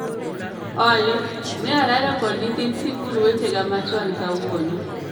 Olly, ne arado kod nyithind sikul wetega machon kawuono